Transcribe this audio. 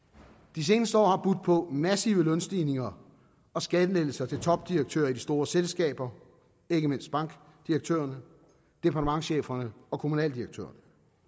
de seneste år har budt på massive lønstigninger og skattelettelser til topdirektører i de store selskaber ikke mindst bankdirektørerne departementscheferne og kommunaldirektørerne